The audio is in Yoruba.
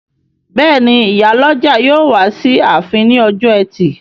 Bẹ́ẹ̀ni, ìyálọ́jà yóò wá sí ààfin ní ọjọ́ ẹtì